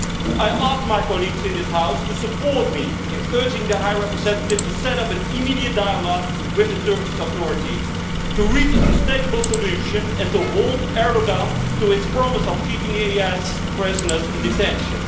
I ask my colleagues in this House to support me in urging the High Representative to set up an immediate dialogue with the Turkish authorities, to reach a sustainable solution, and to hold Erdoğan to his promise of keeping ISIS prisoners in detention.